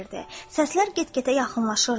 Səslər get-gedə yaxınlaşırdı.